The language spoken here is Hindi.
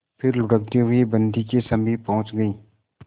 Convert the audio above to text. फिर लुढ़कते हुए बन्दी के समीप पहुंच गई